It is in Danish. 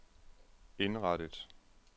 indrettet